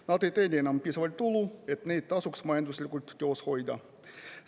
Nad ei teeni enam piisavalt tulu, et neid tasuks majanduslikult töös hoida.